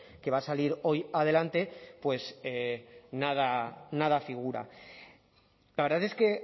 que va a salir hoy adelante pues nada nada figura la verdad es que